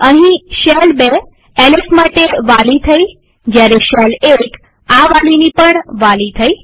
અહીંશેલ ૨ LS માટે વાલી થઇજયારે શેલ ૧ આ વાલીની પણ વાલી થઇ